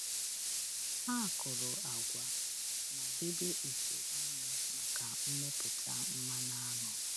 Ha kụrụ agwa ma debe ite aṅụ maka mmepụta mmanụ aṅụ.